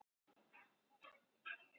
Hann fór svo fínt með það.